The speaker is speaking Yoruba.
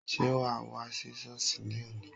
Sé wà á wá sí Sọ́ọ̀sì ní òní?